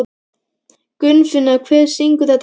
Gunnfinna, hver syngur þetta lag?